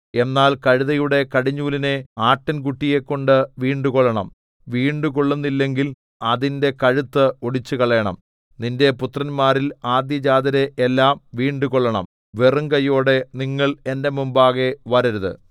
എന്നാൽ കഴുതയുടെ കടിഞ്ഞൂലിനെ ആട്ടിൻകുട്ടിയെക്കൊണ്ട് വീണ്ടുകൊള്ളണം വീണ്ടുകൊള്ളുന്നില്ലെങ്കിൽ അതിന്റെ കഴുത്ത് ഒടിച്ചുകളയണം നിന്റെ പുത്രന്മാരിൽ ആദ്യജാതരെ എല്ലാം വീണ്ടുകൊള്ളണം വെറുംകൈയോടെ നിങ്ങൾ എന്റെ മുമ്പാകെ വരരുത്